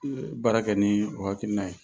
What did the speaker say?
I yɛrɛ; Baara kɛ ni o hakilina ye